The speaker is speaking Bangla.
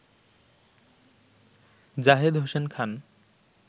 জাহেদ হোসেন খান